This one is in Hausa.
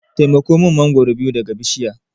Taimako min mangoro guda biyu daga bishiya.